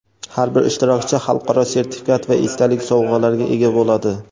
har bir ishtirokchi xalqaro sertifikat va esdalik sovg‘alarga ega bo‘ladi.